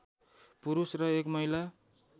पुरुष र एक महिला